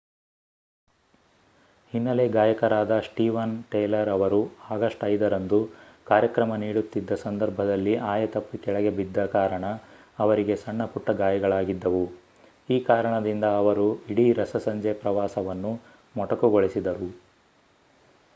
ಹಿನ್ನೆಲೆ ಗಾಯಕರಾದ Steven Tyler ಅವರು ಆಗಸ್ಟ್ 5 ರಂದು ಕಾರ್ಯಕ್ರಮ ನೀಡುತ್ತಿದ್ದ ಸಂದರ್ಭದಲ್ಲಿ ಆಯತಪ್ಪಿ ಕೆಳಗೆ ಬಿದ್ದ ಕಾರಣ ಅವರಿಗೆ ಸಣ್ಣಪುಟ್ಟ ಗಾಯಗಳಾಗಿದ್ದವು ಈ ಕಾರಣದಿಂದ ಅವರು ಇಡೀ ರಸಸಂಜೆ ಪ್ರವಾಸವನ್ನು ಮೊಟಕುಗೊಳಿಸಿದರು